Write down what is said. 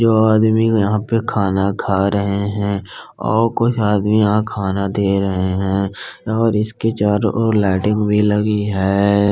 यह आदमी यहाँ पे खाना खा रहे हैं और कुछ आदमी यहाँ खाना दे रहे हैं और इसके चारों और लाइटिंग भी लगी है।